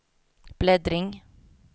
bläddring